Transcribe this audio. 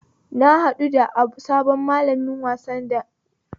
Na haɗu da sabon malamin wasanni na badamita